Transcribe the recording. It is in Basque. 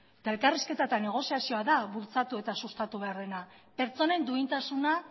eta elkarrizketa eta negoziazioa da bultzatu eta sustatu behar dena pertsonen duintasuna